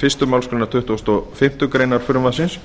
fyrstu málsgrein tuttugustu og fimmtu grein frumvarpsins